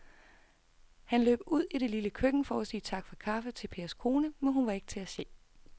Han løb ud i det lille køkken for at sige tak for kaffe til Pers kone, men hun var ikke til at se.